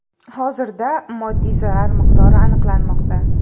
Hozirda moddiy zarar miqdori aniqlanmoqda.